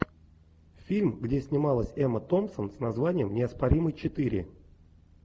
фильм где снималась эмма томпсон с названием неоспоримый четыре